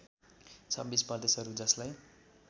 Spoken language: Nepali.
२६ प्रदेशहरू जसलाई